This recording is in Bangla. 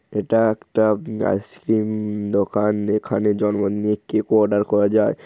এটা একটা উমম আইস ক্রিম দোকান এখানে জন্মদিনের কেক অর্ডার করা যায় ।